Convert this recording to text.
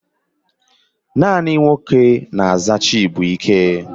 Naanị nwoke na-aza Chibụike.